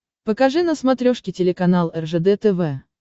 покажи на смотрешке телеканал ржд тв